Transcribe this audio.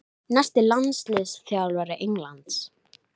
Ég arkaði á eftir honum en staldraði við í gættinni.